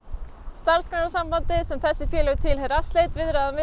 Starfsgreinasambandið sem þessi félög tilheyra sleit viðræðum